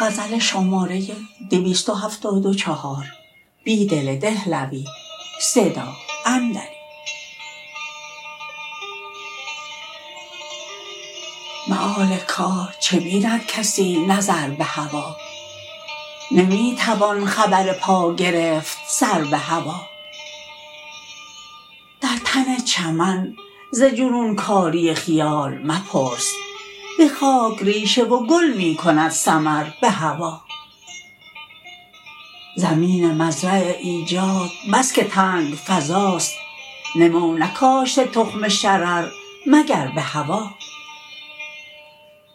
مآل کار چه بیندکسی نظر به هوا نمی توان خبر پاگرفت سر به هوا درتن چمن ز جنونکاری خیال مپرس به خاک ریشه وگل می کند ثمر به هوا زمین مزرع ایجاد بس که تنگ فضاست نمونکاشته تخم شرر مگربه هوا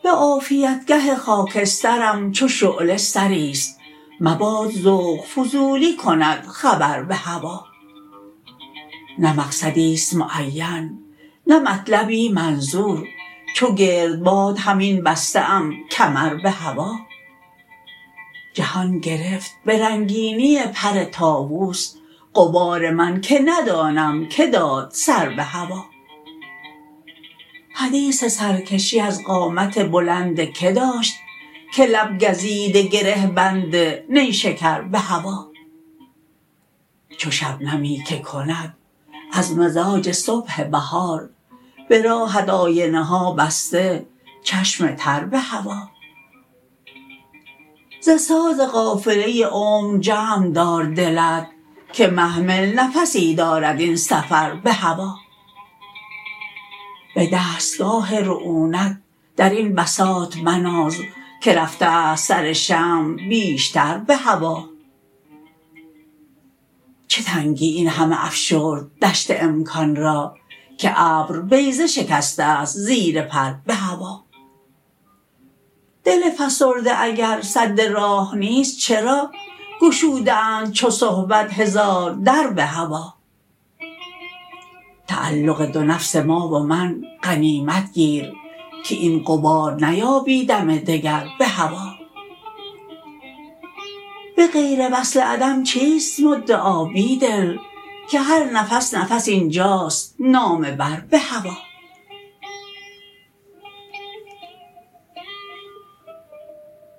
به عافیتگه خاکسترم چو شعله سری ست مباد ذوق فضولی کند خبر به هوا نه مقصدی ست معین نه مطلبی منظور چوگردباد همین بسته ام کمر به هوا جهان گرفت به رنگینی پر طاووس غبار من که ندانم که داد سر به هوا حدیث سرکشی از قامت بلندکه داشت که لب گزیده گره بند نیشکر به هوا چو شبنمی که کند از مزاج صبح بهار به راهت آینه ها بسته چشم تر به هوا ز ساز قافله عمر جمع دار دلت که محمل نفسی دارد این سفر به هوا به دستگاه رعونت درین بساط مناز که رفته است سرشمع بیشتر به هوا چه تنگی این همه افشرد دشت امکان را که ابر بیضه شکسته ست زیر پر به هوا دل فسرده اگر سد راه نیست چرا گشوده اند چو صبحت هزار در به هوا تعلق دونفس ما ومن غنیمت گیر که این غبار نیابی دم دگر به هوا به غیروصل عدم چیست مدعا بیدل که هر نفس نفس اینجاست نامه بر به هوا